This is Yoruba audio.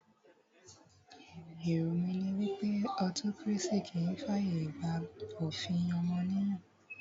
Èrò mí ní wípé autocracy kìí fi ààyè gba òfin ọmọnìyàn.